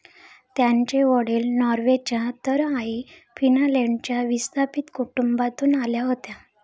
त्यांचे वडील नॉर्वेच्या तर आई फिनलँडच्या विस्थापित कुटुंबातून आल्या होत्या.